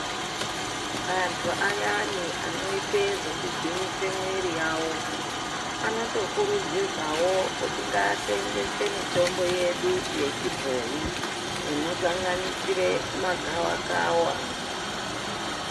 Antu ayani anoite zveku gwinyise mwiri yavo anoto kurudzirwawo kuti ngaasenzese mitombo yedu ye chibhoyi ino sanganisire ma gava kava.